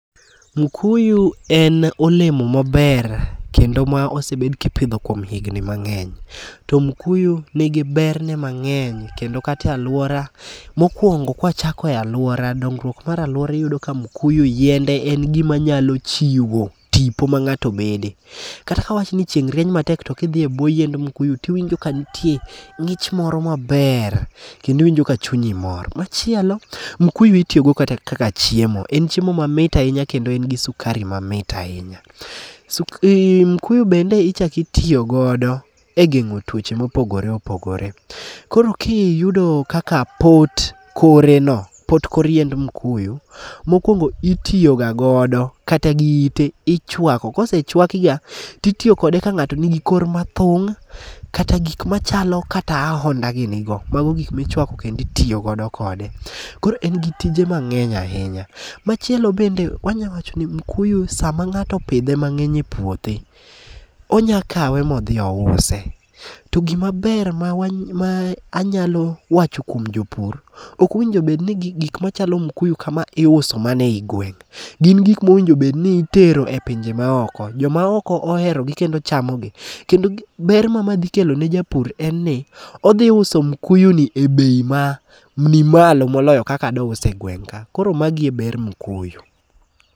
Mukuyu en olemo maber kendo mwa osebed kipidho kuom higni mang'eny. To mukuyu nigi berne mang'eny kendo kata e alwora, mokwongo kwachako e alwora, dongruok mar alwora iyudo ka mukuyu, yiende en gima nyalo chiwo tipo mang'ato bede. Kata ka wawach ni chieng' rieny matek to kidhi e bwo yiend mukuyu tiwinjo ka nitie ng'ich moro maber kendo iwinjo ka chunyi mor. Machielo, mukuyu itiyogo kata kaka chiemo, en chiemo mamit ahinya kendo en gi sukari mamit ahinya. Mukuyu bende ichako itiyogo e geng'o tuoche mopogore opogore. Koro kiyudo kaka pot koreno, pot kor yiend mukuyu, mokwongo itiyo ga godo kata gi ite. Ichwako, kosechwakiga, titiyo kode ka ng'ato nigi kor mathung' kata gik machalo kata ahonda gini go. Mago gik michwako kendo itiyo godo kode. Koro en gi tije mang'eny ahinya. Machielo bende wanya wacho ni mukuyu sama ng'ato opidhe mang'eny e puothe, onya kawe modhi ouse. To gimaber ma anyalo wacho kuom jopur ,ok owinjo bed ni gik machalo kaka mukuyu kama iuso mana e gweng'. Gin gik mowinjo bed ni itero e pinje maoko. Jok maoko oherogi kendo chamogi. Kendo ber ma madhi kelo ne japur en ni, odhi uso mukuyu ni e bei manimalo moloyo kaka douse e gweng' ka. Koro magi e ber mukuyu.